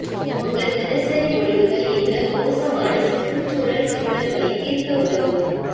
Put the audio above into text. உங்கள் தினசரி முடிவுகள் எங்கள் மோசமான சுற்றுச்சூழல் சிக்கல்களை தீர்க்க உதவும்